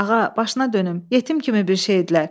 Ağa, başına dönüm, yetim kimi bir şeydilər.